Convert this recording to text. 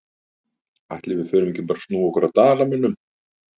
Ætli við förum ekki bara að snúa okkur að Dalamönnum?